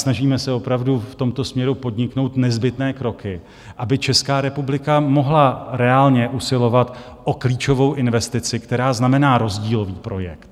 Snažíme se opravdu v tomto směru podniknout nezbytné kroky, aby Česká republika mohla reálně usilovat o klíčovou investici, která znamená rozdílový projekt.